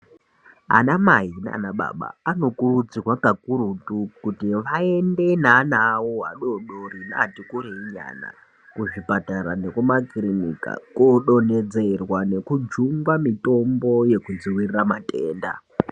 Anamai naanababa anokurudzirwa kakurutu kuti vaende neana adoodori nevati kurei ana kuzvipatara nekumakirinika kundonhodzerwa nekujungwa mitombo yekudzivirira matenda.